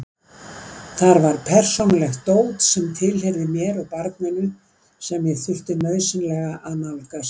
Þar var persónulegt dót sem tilheyrði mér og barninu sem ég þurfti nauðsynlega að nálgast.